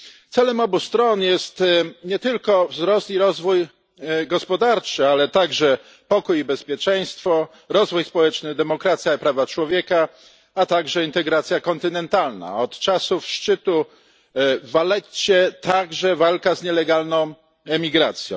Celem obu stron jest nie tylko wzrost i rozwój gospodarczy, ale także pokój i bezpieczeństwo, rozwój społeczny, demokracja i prawa człowieka, a także integracja kontynentalna, a od czasu szczytu w Valletcie także walka z nielegalną emigracją.